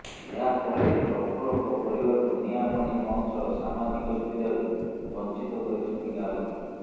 ଏହା ପରେ ପ୍ରଫୁଲ୍ଲଙ୍କ ପରିବାରକୁ ନିଆଁ ପାଣି ବନ୍ଦ ସହ ସାମାଜିକ ସୁବିଧାରୁ ବଞ୍ଚିତ କରିଛନ୍ତି ଗାଁଲୋକେ